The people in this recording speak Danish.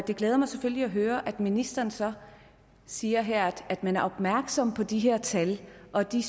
det glæder mig selvfølgelig at høre at ministeren så siger her at man er opmærksom på de her tal og at de